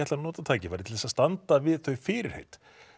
nota tækifærið til þess að standa við þau fyrirheit